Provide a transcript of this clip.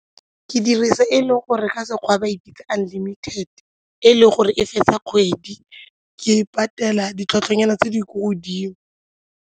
Ke dirisa e e le gore ka smSekgowa ba e bitsa unlimited, e e le gore e fetsa kgwedi, ke patela ditlhwatlhwa nyana tse di ko godimo.